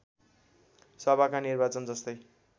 सभाका निर्वाचन जस्तै